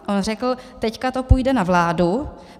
On řekl "teď to půjde na vládu".